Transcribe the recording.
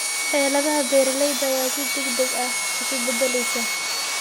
Xaaladda beeralayda ayaa si degdeg ah isu beddelaysa.